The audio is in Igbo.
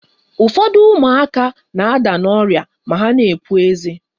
Ụfọdụ ụmụaka na-ada n' ọrịa ma ha na-epu eze.